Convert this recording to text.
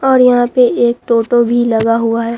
और यहां पे एक टोटो भी लगा हुआ है।